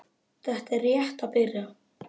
Þetta er rétt að byrja